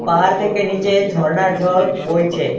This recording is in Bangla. পাহাড় থেকে নীচে ঝরনার ঝল বইছে।